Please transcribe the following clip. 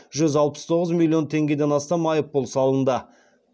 жүз алпыс тоғыз миллион теңгеден астам айыппұл салынды